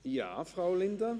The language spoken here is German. Ja, Frau Linder?